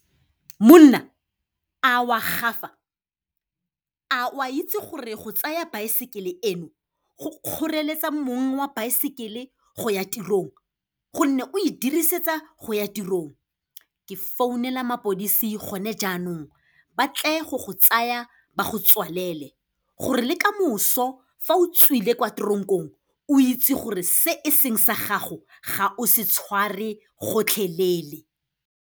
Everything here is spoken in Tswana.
Monna, a o a gafa! A o a itse gore go tsaya baesekele eno go kgoreletsa mong wa baesekele go ya tirong, gonne o e dirisetsa go ya tirong. Ke founela mapodisi gone jaanong, ba tle go go tsaya ba go tswalele, gore le ka moso fa o tswile kwa tronk-ong, o itse gore se e seng sa gago, ga o se tshware gotlhelele.